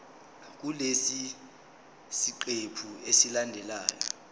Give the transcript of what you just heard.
kulesi siqephu esilandelayo